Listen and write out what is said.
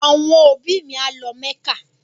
Àwọn òbí mi a lọ mẹ́kà